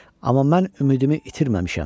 Amma mən ümidimi itirməmişəm.